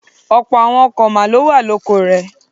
Ọ̀pọ̀ àwọn ọ̀kàn máa ló wà lóko rẹ̀.